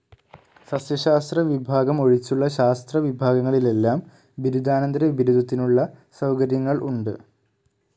സസ്യശാസ്ത്ര വിഭാഗം ഒഴിച്ചുള്ള ശാസ്ത്ര വിഭാഗങ്ങളിലെല്ലാം ബിരുദാന്തര ബിരുദത്തിനുള്ള സൗകര്യങ്ങൾ ഉണ്ട്.